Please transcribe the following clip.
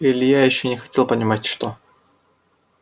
илья ещё не хотел понимать что